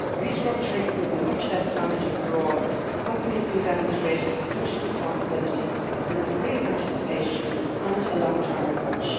restructuring would be much less damaging for all if companies could demonstrate social responsibility, if there is real participation and a long term approach.